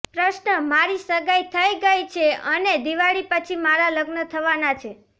પ્રશ્નઃ મારી સગાઈ થઈ ગઈ છે અને દિવાળી પછી મારાં લગ્ન થવાનાં છે